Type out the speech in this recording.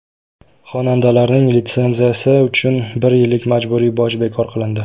Xonandalarning litsenziyasi uchun bir yillik majburiy boj bekor qilindi.